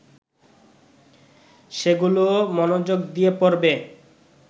সেগুলোও মনোযোগ দিয়ে পড়বে